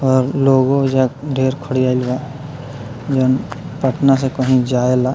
और लोगो ओइजा ढ़ेर खड़ियाएल बा जउन पटना से कहीं जाएला।